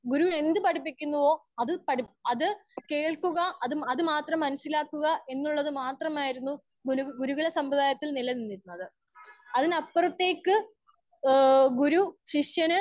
Speaker 1 ഗുരു എന്ത് പഠിപ്പിക്കുന്നുവോ അത് കേൾക്കുക അത് മാത്രം മനസിലാക്കുക എന്നുള്ള ത് മാത്രമായിരുന്നു ഗുരുകുല സംബ്രാതായതിൽ നില നിന്നിരുന്നത്. അതിന് അപ്പുറത്തേക്ക് ഹേ ഗുരു ശിഷ്യന്